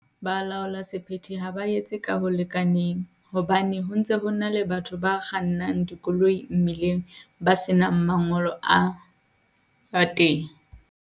Ba laola sephete ha ba etse ka ho lekaneng, hobane ho ntse ho na le batho ba kgannang dikoloi mmileng, ba senang mangolo a ba teng.